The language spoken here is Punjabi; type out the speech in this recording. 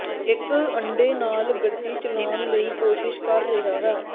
ਇੱਕ ਅੰਡੇ ਨਾਲ ਗੱਡੀ ਚਲਾਉਣ ਲਈ ਕੋਸ਼ਿਸ਼ ਕਰ ਰਿਹਾ ਹੈ